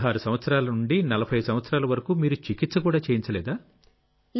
16 సంవత్సరాల నుండి 40 సంవత్సరాల వరకు మీరు చికిత్స కూడా చేయించలేదా